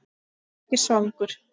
Ég er ekki svangur